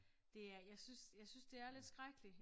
Det er jeg synes synes det er lidt skrækkelig